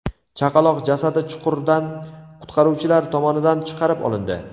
Chaqaloq jasadi chuqurdan qutqaruvchilar tomonidan chiqarib olindi.